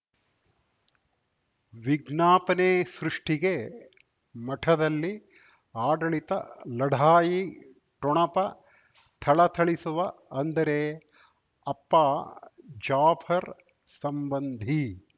ವಿಜ್ಞಾಪನೆ ಸೃಷ್ಟಿಗೆ ಮಠದಲ್ಲಿ ಆಡಳಿತ ಲಢಾಯಿ ಠೊಣಪ ಥಳಥಳಿಸುವ ಅಂದರೆ ಅಪ್ಪ ಜಾಫರ್ ಸಂಬಂಧಿ